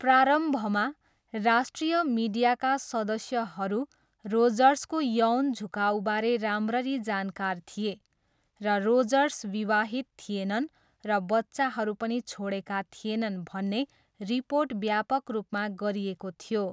प्रारम्भमा, राष्ट्रिय मिडियाका सदस्यहरू रोजर्सको यौन झुकाउबारे राम्ररी जानकार थिए, र रोजर्स विवाहित थिएनन् र बच्चाहरू पनि छोडेका थिएनन् भन्ने रिपोर्ट व्यापक रूपमा गरिएको थियो।